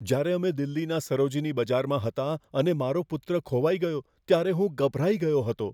જ્યારે અમે દિલ્હીના સરોજિની બજારમાં હતા અને મારો પુત્ર ખોવાઈ ગયો ત્યારે હું ગભરાઈ ગયો હતો.